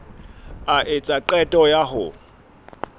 a etsa qeto ya ho